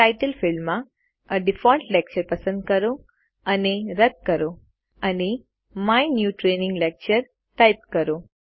title ફિલ્ડમાં એ default lecture પસંદ કરો અને રદ કરો અને my new training lecture type કરો